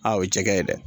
Aa o ye jɛgɛ ye dɛ